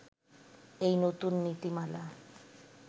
এই নতুন নীতিমালা